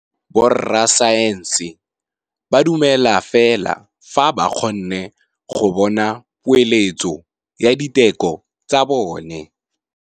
Borra saense ba dumela fela fa ba kgonne go bona poeletsô ya diteko tsa bone.